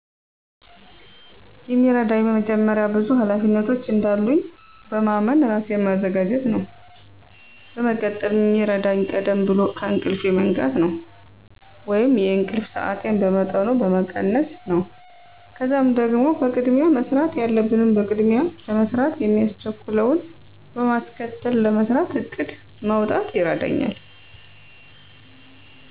የሚረዳኝ መጀመሪያ ብዙ ሀላፊነቶች እንዳሉኝ በማመን ራሴን ማዘጋጀት ነው። በመቀጠል ሚረዳኝ ቀደም ብሎ ከእንቅልፌ መንቃት ነው ወይንም የእንቅልፍ ሰአቴን በመጠኑ መቀነስ ነው። ከዛም ደግሞ ቅድሚያ መሰራት ያለበትን በቅድሚያ ለመስራት ማያስቸኩለውን በማስከተል ለመስራት እቅድ ማውጣት ይረዳኛል።